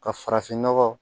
Ka farafin nɔgɔ